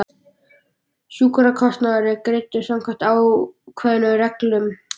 Sjúkrakostnaður er greiddur samkvæmt ákveðnum reglum.